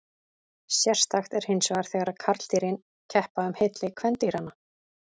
Sérstakt er hinsvegar þegar karldýrin keppa um hylli kvendýranna.